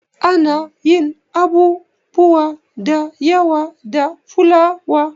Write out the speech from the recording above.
Ana yin abubuwa da yawa da fulawa.